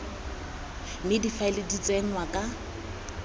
mme difaele di tsenngwa ka